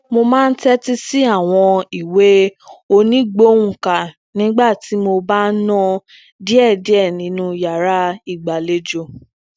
mo máa ń tétí sí àwọn ìwé onigbohunka nígbà tí mo bá ń na diẹdiẹ nínú yàrá ìgbalejo